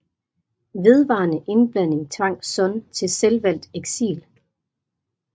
Vedvarende indblanding tvang Sun til selvvalgt eksil